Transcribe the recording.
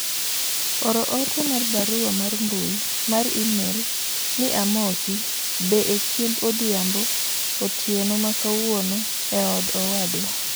oor ote mar barua mar mbui mar email ni amosi be e chiemb odhiambo otieno ma kawuono eod owadwa